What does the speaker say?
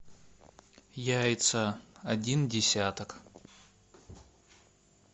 яйца один десяток